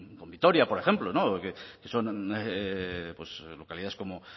con vitoria por ejemplo no porque son pues localidades como